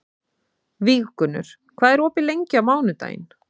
Víggunnur, hvað er opið lengi á mánudaginn?